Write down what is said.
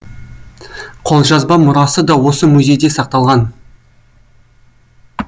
қолжазба мұрасы да осы музейде сақталған